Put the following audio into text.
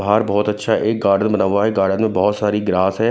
बाहर बहुत अच्छा एक गार्डन बना हुआ है गार्डन में बहुत सारी ग्रास है।